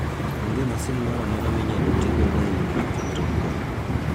Onge masin moro amora minyalo ti godo e ng'iyo kit tong'go.